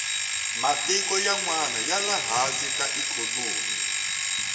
matiko yanwani yale hansi hi ikhonomi